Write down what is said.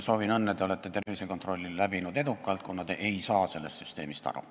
Soovin õnne, te olete tervisekontrolli läbinud edukalt, kuna te ei saa sellest süsteemist aru.